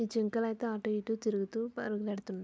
ఈ జింకలు అయితే అటు ఇటు తిరుగుతూ పరుగెడుతున్నాయి